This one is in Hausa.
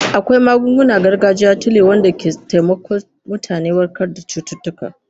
Akwai magungunan gargajiya tuli wanda suke taimakon mutane warkar da cututtuka